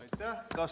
Aitäh!